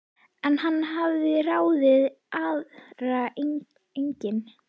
En hann hafði ráðið aðra einnig.